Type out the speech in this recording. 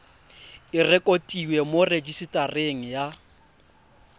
e rekotiwe mo rejisetareng ya